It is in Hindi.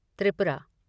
त्रिपुरा